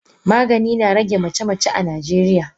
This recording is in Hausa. Magani na rage mace mace a najeriya.